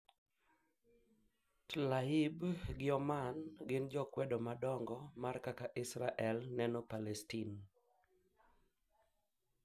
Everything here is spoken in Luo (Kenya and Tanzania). Tlaib gi Oman gin jo kwedo madongo mar kaka Israel neno Palestine